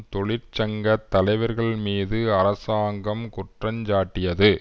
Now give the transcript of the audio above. தொழிற்சங்க தலைவர்கள் மீது அரசாங்கம் குற்றஞ்சாட்டியது